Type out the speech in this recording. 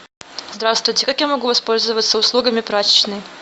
здравствуйте как я могу воспользоваться услугами прачечной